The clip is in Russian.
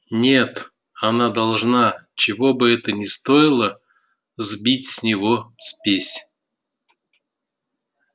нет она должна чего бы это ни стоило сбить с него спесь